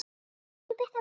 Elsku Birta mín.